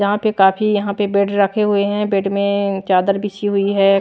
जहां पे काफी यहां पे बेड रखे हुए हैं बेड में चादर बिसी हुई है।